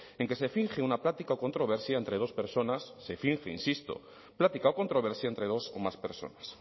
en que se finge una plática o controversia entre dos personas se finge insisto plática o controversia entre dos o más personas